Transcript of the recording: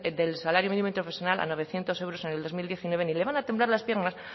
del salario mínimo interprofesional a novecientos euros en el dos mil diecinueve ni le van a temblar las piernas